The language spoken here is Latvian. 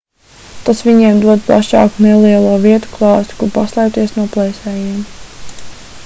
tas viņiem dod plašāku nelielo vietu klāstu kur paslēpties no plēsējiem